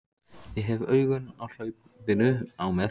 Ég hef augun á hlaupinu á með